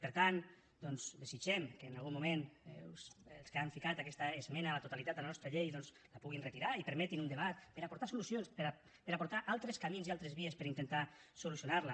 per tant desitgem que en algun moment els que han posat aquesta esmena a la totalitat de la nostra llei doncs la puguin retirar i permetin un debat per aportar solucions per aportar altres camins i altres vies per intentar solucionar la